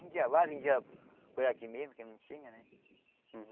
Vendia lá, vendia por aqui mesmo, que não tinha, né?